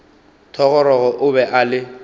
thogorogo o be a le